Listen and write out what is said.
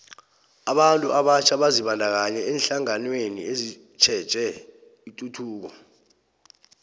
abantu abatjha bazibandakanye eenhlanganweni ezitjheje ituthuko